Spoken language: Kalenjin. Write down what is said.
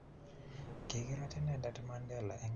kikirat inendet Mandela eng' ratetab sobet kobek